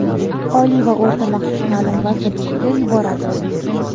Oliy va o‘rta maxsus ta’lim vazirligiga yuboradi.